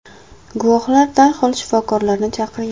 Guvohlar darhol shifokorlarni chaqirgan.